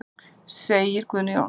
Segir Guðni Jónsson.